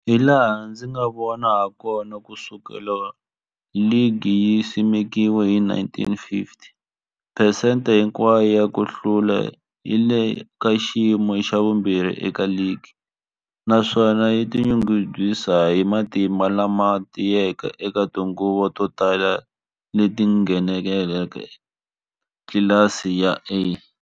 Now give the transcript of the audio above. Hilaha ndzi nga vona hakona, ku sukela loko ligi yi simekiwile 1950, phesente hinkwayo ya ku hlula yi le ka xiyimo xa vumbirhi eka ligi, naswona yi tinyungubyisa hi matimba lama tiyeke eka tinguva to tala leti yi ngheneke eka tlilasi ya A.